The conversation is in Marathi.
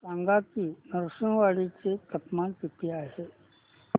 सांगा की नृसिंहवाडी चे तापमान किती आहे